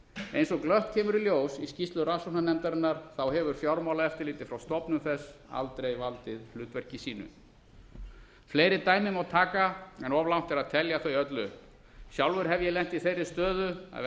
eins og glöggt kemur í ljós í skýrslu rannsóknarnefndarinnar hefur fjármálaeftirlitið frá stofnun þess aldrei valdið hlutverki sínu fleiri dæmi má taka en of langt er að telja þau öll upp sjálfur hef ég lent í þeirri stöðu að vera